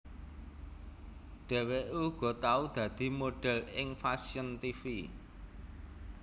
Dhèwèké uga tau dadi modhèl ing fashion tv